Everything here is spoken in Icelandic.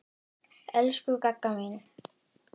Elsku Gagga mín.